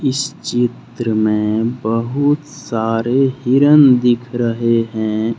इस चित्र में बहुत सारे हिरण दिख रहे हैं।